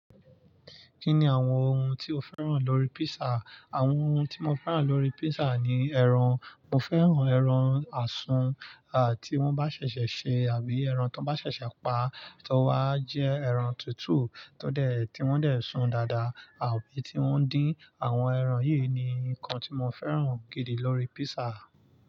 Kí ni àwọn ohun tí o fẹ́ràn lórí písà? Àwọn ohun tí mo fẹ́ràn lórí písà ni ẹran. Mo fẹ́ràn ẹran àsun à tí wọ́n bá ṣẹ̀ṣẹ̀ ṣe àbí ẹran tón bá ṣẹ̀ṣẹ̀ pa tó wá jẹ ẹran tútù tó dẹ̀ tí wọ́n dẹ̀ sùn dáadáa àbí tí wọ́n dín. Àwọn ẹran yìí ni nǹkan tí mo fẹ́ràn gidi lórí písà.